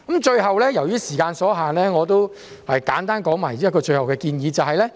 最後，由於時間所限，我簡單說出最後的建議。